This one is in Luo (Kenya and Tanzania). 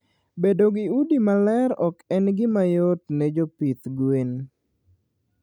Bedo gi udi maler ok en gima yot ne jopith gwen